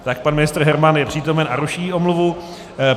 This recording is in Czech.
Tak pan ministr Herman je přítomen a ruší omluvu.